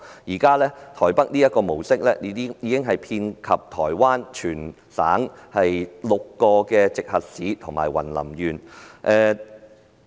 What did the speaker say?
現時，台北這個模式已遍及全台灣6個直轄市及雲林縣。